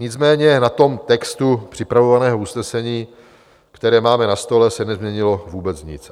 Nicméně na tom textu připraveného usnesení, které máme na stole, se nezměnilo vůbec nic.